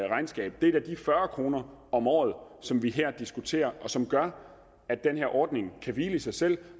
regnskab det er da de fyrre kroner om året som vi her diskuterer og som gør at den her ordning kan hvile i sig selv